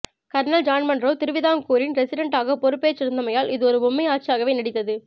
kernel John Munro திருவிதாங்கூரின் resident ஆக பொறுப்பேற்றிருந்தமையால் இது ஒரு பொம்மை ஆட்சியாகவே நீடித்தது